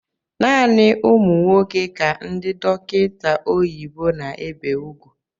Naanị ụmụ nwoke ka ndị dọkịta oyibo na-ébé úgwú